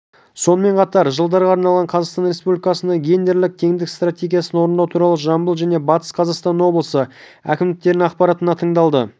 сонымен қатар жылдарға арналған қазақстан республикасындағы гендерлік теңдік стратегиясын орындау туралы жамбыл және батыс қазақстан облысы әкімдіктерінің ақпараттары тыңдалды